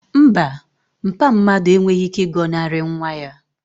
Mba, mpa mmadu enweghị ike ịgọnarị nwa ya